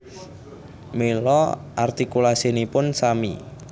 Mila artikulasinipun sami